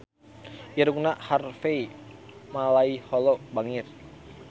Irungna Harvey Malaiholo bangir